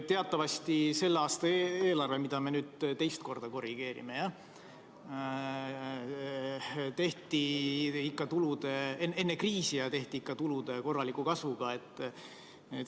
Teatavasti selle aasta eelarve, mida me nüüd teist korda korrigeerime, tehti enne kriisi ja ikka tulude korraliku kasvuga.